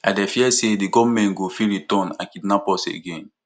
i dey fear say di gunmen go fit return and kidnap us again